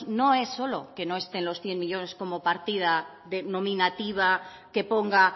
no es solo que no estén los cien millónes como partida nominativa que ponga